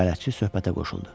Bələdçi söhbətə qoşuldu.